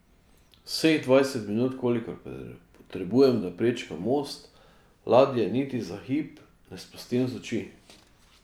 Vseh dvajset minut, kolikor potrebujem, da prečkam most, ladje niti za hip ne spustim z oči.